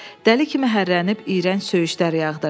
Dəli kimi hərrlənib iyrənc söyüşlər yağdırdı.